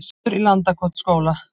Eldur í Landakotsskóla